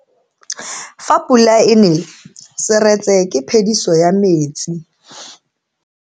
Fa pula e nele seretse ke phediso ya metsi.